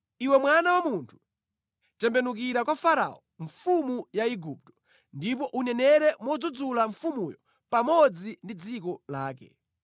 “Iwe mwana wa munthu, tembenukira kwa Farao, mfumu ya Igupto, ndipo unenere modzudzula mfumuyo pamodzi ndi dziko lake.